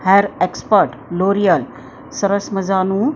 hair expert L'Oreal સરસ મજાનું blue--